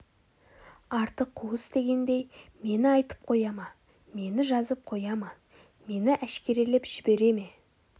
арты қуыс дегендей мені айтып қоя ма мені жазып қоя ма мені әшкерелеп жібере ме